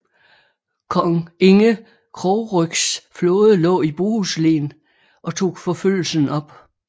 Kong Inge Krogrygs flåde lå i Bohuslen og tog forfølgelsen op